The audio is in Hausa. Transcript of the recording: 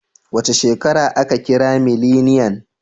Wace shekara aka kira mileniyan?